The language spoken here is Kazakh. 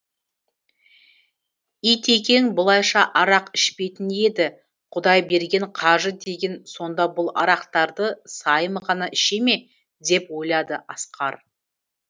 итекең бұлайша арақ ішпейтін еді құдайберген қажы деген сонда бұл арақтарды сайым ғана іше ме деп ойлады асқар